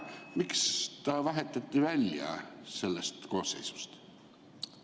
Miks ta vahetati välja sellest koosseisust?